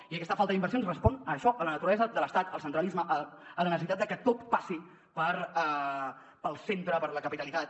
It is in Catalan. i aquesta falta d’inversions respon a això a la naturalesa de l’estat al centralisme a la necessitat de que tot passi pel centre per la capitalitat